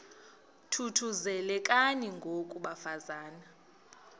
thuthuzelekani ngoko bafazana